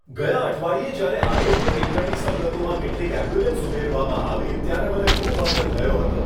ગયા અઠવાડિયે જ્યારે આરોગ્ય કેન્દ્રની સવલતોમાં કેટલીક એમ્બ્યુલન્સ ઉમેરવામાં આવી ત્યારે મને ખૂબ આનંદ થયો હતો.